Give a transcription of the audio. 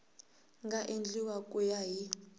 nga endliwa ku ya hi